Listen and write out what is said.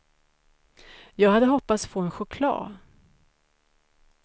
Jag hade hoppats få en choklad.